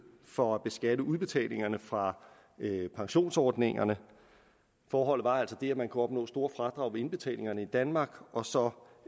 for at beskatte udbetalingerne fra pensionsordningerne forholdet var altså det at man kunne opnå store fradrag ved indbetalingerne i danmark og så